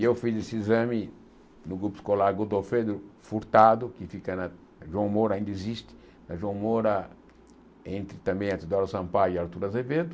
E eu fiz esse exame no grupo escolar Godolfedro Furtado, que fica na João Moura, ainda existe, na João Moura, entre também a Dora Sampaio e a Artur Azevedo,